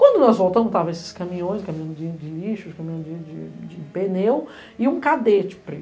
Quando nós voltamos, estavam esses caminhões, caminhão de lixo, caminhão de pneu e um cadete preto.